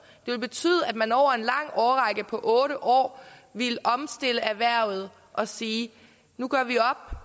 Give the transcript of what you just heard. ville betyde at man over en lang årrække på otte år ville omstille erhvervet og sige nu gør vi op